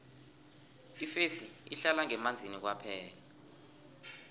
ifesi ihlala ngemanzini kwaphela